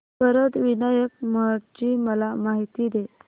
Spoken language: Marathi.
वरद विनायक महड ची मला माहिती दे